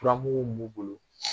turamugu mun bolo